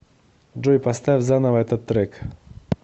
джой поставь заново этот трек